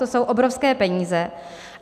To jsou obrovské peníze.